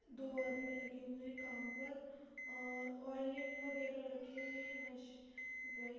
दो आदमी लगे हुए हैं काम पर और ओइलिंग वगैरह रखे हुए हैं बस --